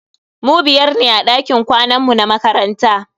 Mu biyar ne a dakin kwanan mu na makaranta.